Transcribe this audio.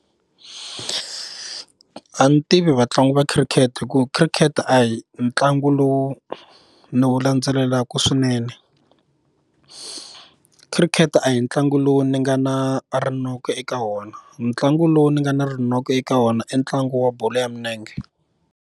A ni tivi vatlangi va khirikhete hi ku khirikhete a hi ntlangu lowu ni wu landzelelaka swinene khirikhete a hi ntlangu lowu ni nga na rinoko eka wona ntlangu lowu ni nga na rinoko eka wona i ntlangu wa bolo ya milenge.